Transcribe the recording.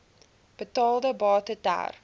betaalde bate ter